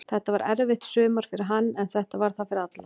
Þetta var erfitt sumar fyrir hann, en þetta var það fyrir alla.